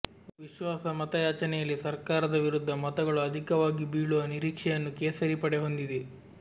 ವಿಶ್ವಾಸ ಮತಯಾಚನೆಯಲ್ಲಿ ಸರ್ಕಾರದ ವಿರುದ್ಧ ಮತಗಳು ಅಧಿಕವಾಗಿ ಬೀಳುವ ನಿರೀಕ್ಷೆಯನ್ನು ಕೇಸರಿ ಪಡೆ ಹೊಂದಿದೆ